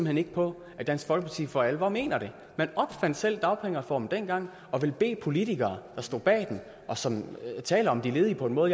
hen ikke på at dansk folkeparti for alvor mener det man opfandt selv dagpengereformen dengang og vil bede politikere som stod bag den og som taler om de ledige på en måde